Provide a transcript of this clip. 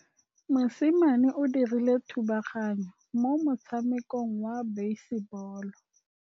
Mosimane o dirile thubaganyô mo motshamekong wa basebôlô.